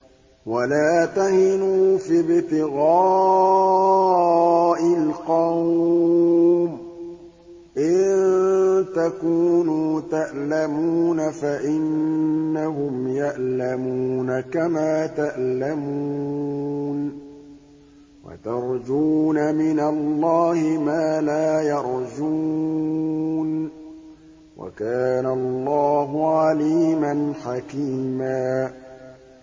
وَلَا تَهِنُوا فِي ابْتِغَاءِ الْقَوْمِ ۖ إِن تَكُونُوا تَأْلَمُونَ فَإِنَّهُمْ يَأْلَمُونَ كَمَا تَأْلَمُونَ ۖ وَتَرْجُونَ مِنَ اللَّهِ مَا لَا يَرْجُونَ ۗ وَكَانَ اللَّهُ عَلِيمًا حَكِيمًا